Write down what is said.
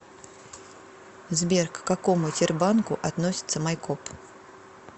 сбер к какому тербанку относится майкоп